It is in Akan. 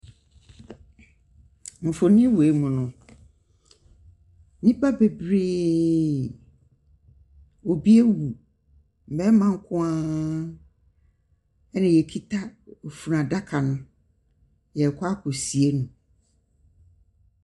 Mfonim wei mu no, nnipa bebree. Obi awu. Mmarima nko ara na wɔkita funu ada no. wɔrekɔ akɔsie no.